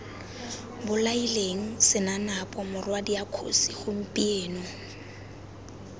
bolaileng senanapo morwadia kgosi gompieno